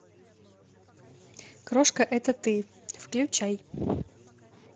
крошка это ты включай